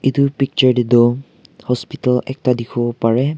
etu picture teh toh hospital ekta dikhibo pare.